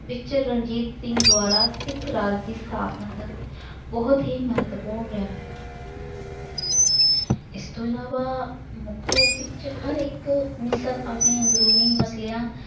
ਵਿਖੇ ਰਣਜੀਤ ਸਿੰਘ ਦੁਆਰਾ ਸਿੱਖ ਰਾਜ ਦੀ ਸਥਾਪਨਾ ਦਾ ਬਹੁਤ ਹੀ ਮਹੱਤਵਪੂਰਨ ਹੈ। ਇਸ ਤੋਂ ਇਲਾਵਾ ਮਨੁੱਖ ਰੂਪ ਵਿੱਚ ਹਰ ਇੱਕ ਮਿਸਲ ਆਪਣੇ ਅੰਦਰੂਨੀ ਮਸਲਿਆਂ